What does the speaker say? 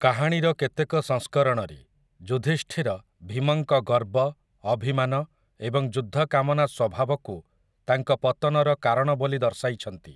କାହାଣୀର କେତେକ ସଂସ୍କରଣରେ, ଯୁଧିଷ୍ଠିର ଭୀମଙ୍କ ଗର୍ବ, ଅଭିମାନ, ଏବଂ ଯୁଦ୍ଧକାମନା ସ୍ୱଭାବକୁ ତାଙ୍କ ପତନର କାରଣ ବୋଲି ଦର୍ଶାଇଛନ୍ତି ।